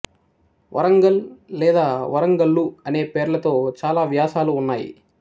వరంగల్ లేదా వరంగల్లు అనే పేర్లతో చాలా వ్యాసాలు ఉన్నాయి